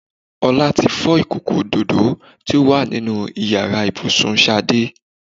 Ọlá tí fọ́ ìkòkò òdòdó tó wà nínú Ìyàrá ibùsùn Ṣadé